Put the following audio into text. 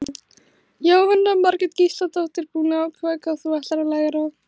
Jóhanna Margrét Gísladóttir: Búin að ákveða hvað þú ætlar að læra?